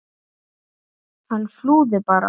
Hann flúði bara!